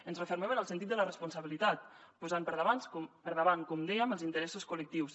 ens refermem en el sentit de la responsabilitat posant per davant com dèiem els interessos col·lectius